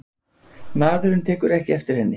Maðurinn tekur ekki eftir henni.